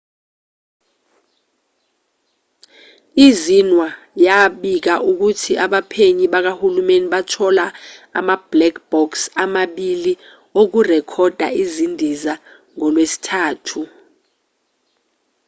i-xinhua yabika ukuthi abaphenyi bakahulumeni bathola ama- black box” amabilii okurekhoda izindiza ngolwesithathu